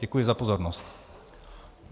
Děkuji za pozornost.